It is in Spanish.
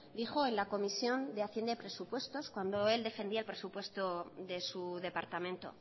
dijo en la comisión de hacienda y presupuestos cuando él defendía el presupuesto de su departamento